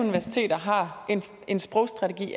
universiteter har en sprogstrategi